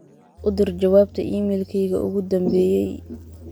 u dir jawaabta iimaylkayga ugu dhambeyey